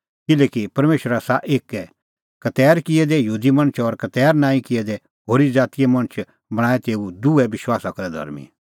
किल्हैकि परमेशर आसा एक्कै खतैर किऐ दै यहूदी मणछ और खतैर नांईं किऐ दै होरी ज़ातीए मणछ बणांणैं तेऊ दुहै विश्वासा करै धर्मीं